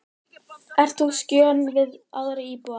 Ert þú á skjön við aðra íbúa?